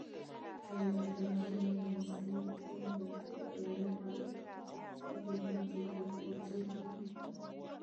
Kayuumetabke nebo naysiet komugakse koyaak en oatinwek cheterterchin